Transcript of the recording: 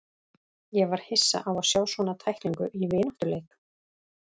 Ég var hissa á að sjá svona tæklingu í vináttuleik.